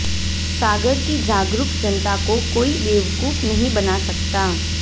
सागर की जागरूक जनता को कोई बेवकूफ नहीं बना सकता